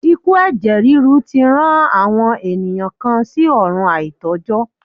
Ikú ẹ̀jẹ̀ ríru tí rán àwọn ènìyàn kan sí ọ̀run àìtó jọ́.